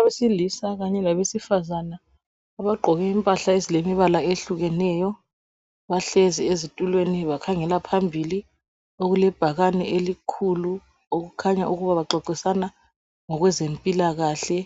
Abesilisa kanye labesifazana abagqoke impahla ezilemibala ehlukeneyo bahlezi ezitulweni bakhangela phambili okulebhakane elikhulu okukhanya ukuba baxoxisana ngokwezempilakahle